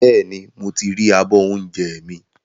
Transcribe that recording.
Bẹ́ẹ̀ni, mo ti ri abọ́ oúnjẹ mi